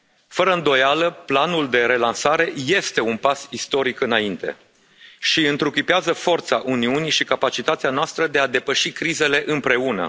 Fără îndoială, planul de relansare este un pas istoric înainte și întruchipează forța Uniunii și capacitatea noastră de a depăși crizele împreună.